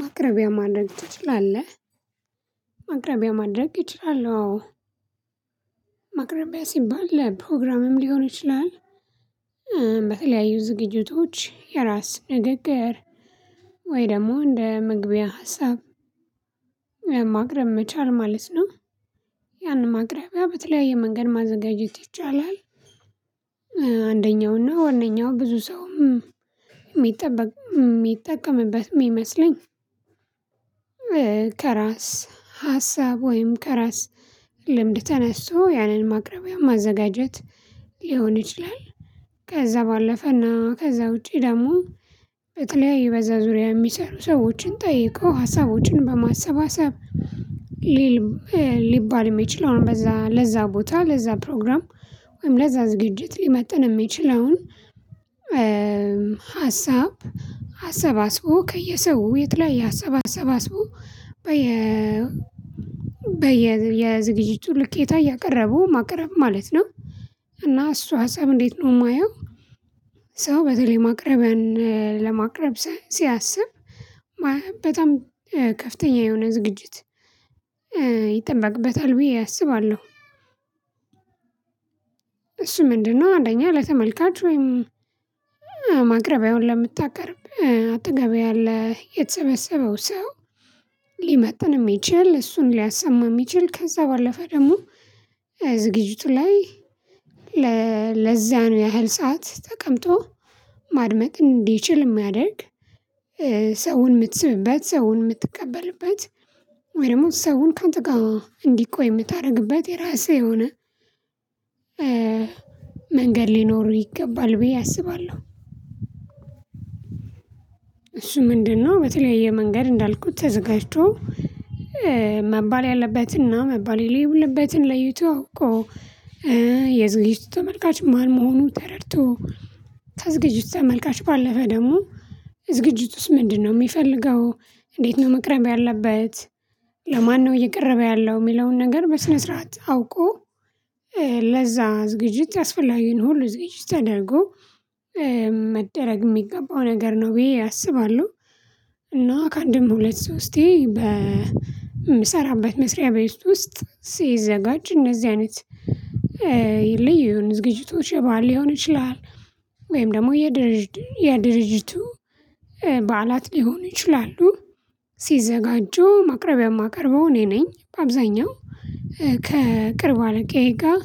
ማቅረቢያ ማድረግ ትችላለህ? ማቅረቢያ ማድረግ እችላለው አዎ ማቅረቢያ ሲባል ለፕሮግራምም ሊሆን ይችላል። በተለያዩ ዝግጅቶች የራስ ንግግር ወይ ደግሞ እንደ ምግቢያ ሀሳብ ማቅረብ መቻል ማለት ነው። ያን ማቅረቢያ በተለያየ መንገድ ማዘጋጀት ይቻላል። አንደኛው ነው ዋናው ብዙ ሰው የሚጠበቅ የሚጠቀምበት የሚመስለኝ። ከራስ ሀሳብ ወይም ከራስ ልምድ ተነስቶ ያንን ማቅረቢያ ማዘጋጀት ሊሆን ይችላል። ከዛ ባለፈና ከዛ ውጪ ደግሞ የተለያዩ በዛ ዙሪያ የሚሰሩ ሰዎችን ጠይቀው ሀሳቦችን በማሰባሰብ። ሊባል የሚችል አሁን ለዛ ቦታ ለዛ ፕሮግራም ወይም ለዛ ዝግጅት ሊመጥን የሚችለውን ሀሳብ ሀሰባስቦ ከየሰው የት ላይ ሀሳብ አሰባሰባስቦ በየ በየ የዝግጅቱ ልኬታ እያቀረቡ ማቅረብ ማለት ነው። እና እሱ ሀሳብ እንዴት ነው የማየው? ሰው በተለይ ማቅረበን ለማቅረብ ሲያስብ በጣም ከፍተኛ የሆነ ዝግጅት ይጠበቅበታል ብዬ አስባለሁ። እሺ ምንድነው? አንደኛ ለተመልካች ወይም ማቅረቢያውን ለምታቀርብ አጠገብ ያለ የተሰበሰበው ሰው ሊመጥን የሚችል እሱን ሊያሰማ የሚችል ከዛ ባለፈ ደግሞ ዝግጅቱ ላይ ለዛ ነው ያህል ሰዓት ተቀምጦ ማድመጥ እንዲችል የሚያደርግ ሰውን የምትስብበት ሰውን የምትቀበልበት ወይ ደግሞ ሰውን ከአንተ ጋር እንዲቆይ የምታደርግበት የራስህ የሆነ መንገድ ሊኖሩ ይገባል ብዬ አስባለሁ። እሱ ምንድነው? በተለያየ መንገድ እንዳልኩት ተዘጋጅቶ መባል ያለበትና መባል የሌለበትን ለይቶ እኮ የዝግጅቱ ተመልካች መሃል መሆኑን ተረድቶ ተዝግጅቶ መልካሽ ባለፈ ደግሞ ዝግጅት ውስጥ ምንድነው የሚፈልገው? እንዴት ነው መቅረብ ያለበት? ለማነው እየቀረበ ያለው የሚለውን ነገር በስነ ስርዓት አውቆ ለዛ እዝግጅት ያስፈላጊን ሁሉ እዝግጅት አድርጎ መደረግ የሚገባው ነገር ነው ብዬ አስባለሁ። እና ከአንድም ሁለት ሰው እስቲ በምሰራበት መስሪያ በይስት ውስጥ ሲዘጋጅ እነዚህ አይነት ይልዩን ዝግጅቶች የባህል ሊሆን ይችላል። ወይም ደግሞ የድርጅቱ በዓላት ሊሆን ይችላሉ። ሲዘጋጁ ማቅረቢያ የማቀርበው እኔ ነኝ አብዛኛው ከቅርብ አለቄ ጋር